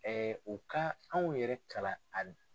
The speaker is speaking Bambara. u ka anw yɛrɛ kalan a